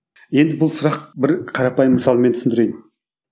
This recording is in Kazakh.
енді бұл сұрақ бір қарапайым мысалмен түсіндірейін